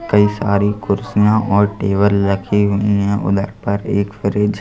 कई सारी कुर्सियां और टेबल रखी हुई हैं उधर पर एक फ्रिज --